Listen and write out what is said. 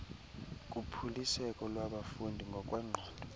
kuphuliseko lwabafundi ngokwengqondo